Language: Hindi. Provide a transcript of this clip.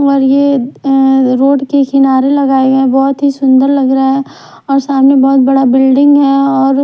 और ये ऐ रोड के किनारे लगाए गए बहुत ही सुंदर लग रहा है और सामने बहुत बड़ा बिल्डिंग है और--